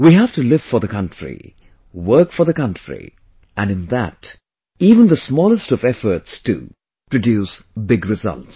We have to live for the country, work for the country...and in that, even the smallest of efforts too produce big results